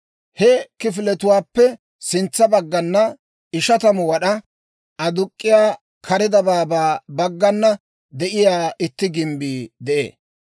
He kifiletuwaappe sintsa baggana, 50 wad'aa aduk'k'iyaa kare dabaabaa baggana de'iyaa itti gimbbii de'ee.